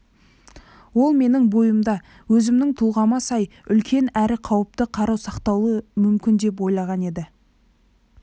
ол менің бойымда өзімнің тұлғама сай үлкен әрі қауіпті қару сақталуы мүмкін деп ойлаған еді